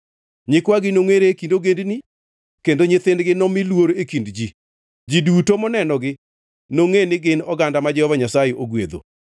Nyikwagi nongʼere e kind ogendini kendo nyithindgi nomi luor e kind ji. Ji duto monenogi nongʼe ni gin oganda ma Jehova Nyasaye ogwedho.”